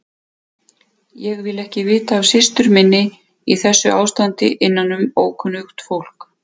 Ég vil ekki vita af systur minni í þessu ástandi innanum ókunnugt fólk.